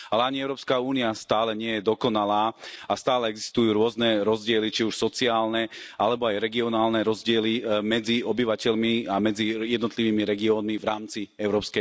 Ale ani EÚ stále nie je dokonalá a stále existujú rôzne rozdiely, či už sociálne, alebo aj regionálne rozdiely medzi obyvateľmi a medzi jednotlivými regiónmi v rámci EÚ.